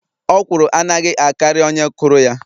Okwụrụ anaghi akari onye kuru ya.